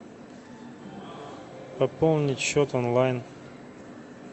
пополнить счет онлайн